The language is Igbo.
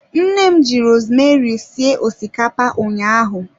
Nne m ji rosemeri sie osikapa ụnyaahụ.